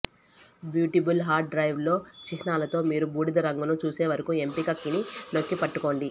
bootable hard డ్రైవ్ల చిహ్నాలతో మీరు బూడిద రంగును చూసేవరకు ఎంపిక కీని నొక్కి పట్టుకోండి